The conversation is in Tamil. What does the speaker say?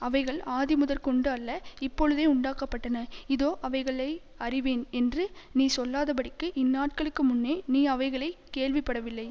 அவைகள் ஆதிமுதற்கொண்டு அல்ல இப்பொழுதே உண்டாக்கப்பட்டன இதோ அவைகளை அறிவேன் என்று நீ சொல்லாதபடிக்கு இந்நாட்களுக்கு முன்னே நீ அவைகளை கேள்விப்படவில்லை